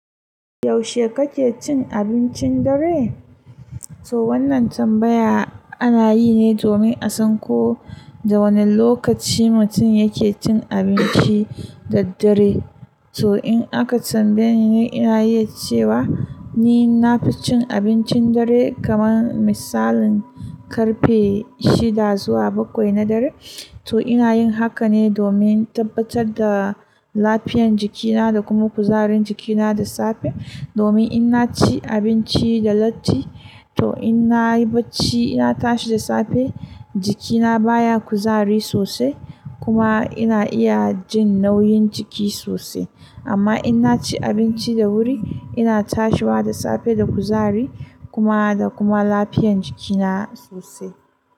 Yaushe kake cin abincin dare? To wannan tambaya ana yi ne domin a san ko da wane lokaci mutum yake cin abinci da dare. To in aka tambaye ni, ni ina iya cewa ni na fi cin abincin dare kamar misalin karfe shida zuwa bakwai na dare. To ina yin haka ne domin tabbatar da lafiyan jikina da kuma kuzarin jikina da safe. Domin in naci abinci da latti, to in na yi bacci ina tashi da safe jikina baya kuzari sosai kuma ina iya jin nauyin jiki sosai. Amma in naci abinci da wuri ina tashiwa da safe da kuzari kuma, da kuma lafiyan jikina sosai.